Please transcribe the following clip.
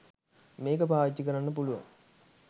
මේක පාවිච්චි කරන්න පුලුවන්.